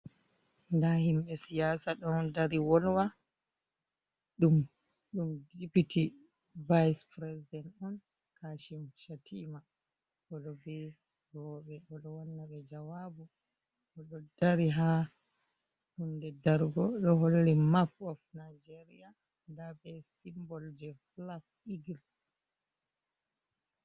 Nda himɓe siyasa ɗon dari wolwa, dum dipiti vase-prisident on kashim shatima, oɗo be roɓe odo wanna ɓe jawabu, oɗo dari ha hunde dargo do holli mapp of nageriya, nda be simbol je flak eagle.